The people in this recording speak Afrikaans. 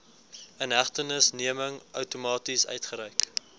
inhegtenisneming outomaties uitgereik